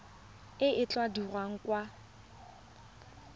e e tla dirwang kwa